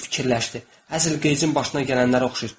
O fikirləşdi, əsl qəyçinin başına gələnlərə oxşayır.